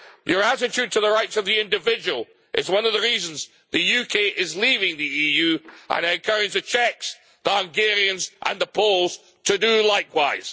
This attitude to the rights of the individual is one of the reasons the UK is leaving the EU, and I encourage the Czechs, the Hungarians and the Poles to do likewise.